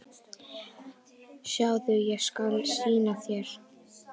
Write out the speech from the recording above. Sjáðu, ég skal sýna þér